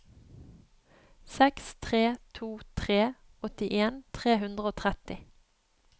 seks tre to tre åttien tre hundre og tretti